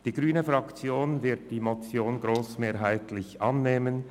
Die grüne Fraktion wird die Motion grossmehrheitlich annehmen.